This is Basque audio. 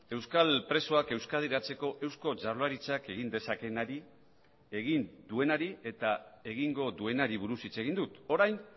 euskal presoak euskadiratzeko eusko jaurlaritzak egin dezakeenari egin duenari eta egingo duenari buruz hitz egin dut orain